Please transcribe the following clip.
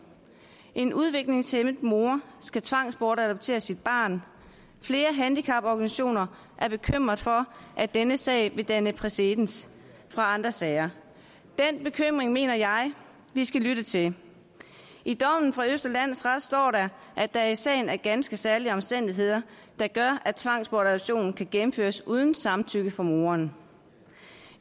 en udviklingshæmmet mor skal tvangsbortadoptere sit barn flere handicaporganisationer er bekymrede for at denne sag vil danne præcedens for andre sager den bekymring mener jeg vi skal lytte til i dommen fra østre landsret står der at der i sagen er ganske særlige omstændigheder der gør at tvangsbortadoption kan gennemføres uden samtykke fra moren